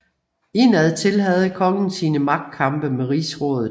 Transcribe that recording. Indad til havde kongen sine magtkampe med rigsrådet